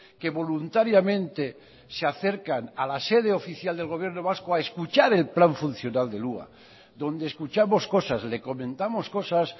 que voluntariamente se acercan a la sede oficial del gobierno vasco a escuchar el plan funcional del hua donde escuchamos cosas le comentamos cosas